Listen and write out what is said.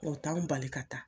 O t'anw bali ka taa.